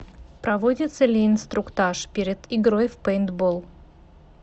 проводится ли инструктаж перед игрой в пейнтбол